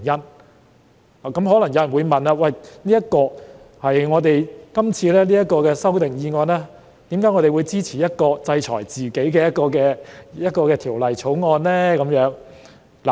就此，有人可能會問，對於今次的修訂議案，我們為何會支持一項制裁自己的《條例草案》呢？